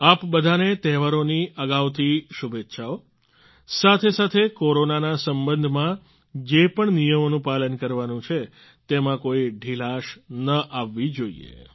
આપ બધાને તહેવારોની અગાઉથી શુભેચ્છાઓ સાથેસાથે કોરોના ના સંબંધમાં જે પણ નિયમોનું પાલન કરવાનું છે તેમાં કોઈ ઢિલાશ નહીં આવવી જોઈએ